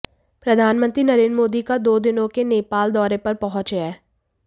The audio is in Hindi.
प्रधानमंत्री नरेंद्र मोदी का दो दिनों के नेपाल दौरे पर पहुंच हैं